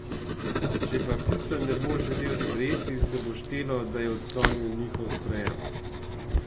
Če pa pisanj ne bo želel sprejeti, se bo štelo, da je odklonil njihov sprejem.